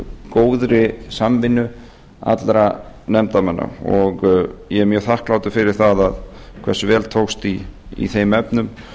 góðri samvinnu allra nefndarmanna og ég er mjög þakklátur fyrir það hversu vel tókst í þeim efnum